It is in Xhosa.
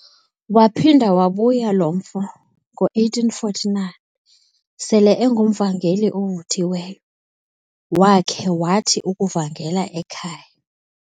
Waphinda wabuya lo mfo ngo1849 sele engumvangeli ovuthiweyo, wakhe wathi ukuvangela ekhaya.